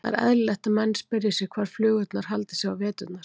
Það er eðlilegt að menn spyrji sig hvar flugurnar haldi sig eiginlega á veturna.